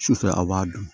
Sufɛ a b'a dun